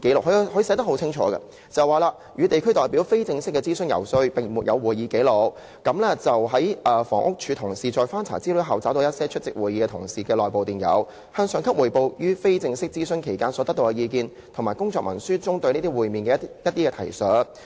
局長寫得十分清楚，"與地區代表非正式的諮詢游說並沒有會議紀錄......房屋署同事在翻查資料後，找到一些出席會議的同事的內部電郵，向上級匯報於非正式諮詢期間所得到的意見，以及工作文書中對這些會面的一些提述。